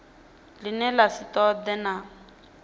ḽine ḽa si ṱoḓee kana